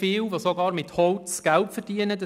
Wir stimmen ab.